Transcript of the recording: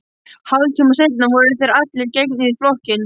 Hálftíma seinna voru þeir allir gengnir í flokkinn.